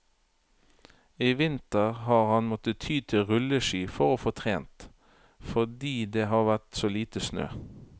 I vinter har han måttet ty til rulleski for å få trent, fordi det har vært så lite snø.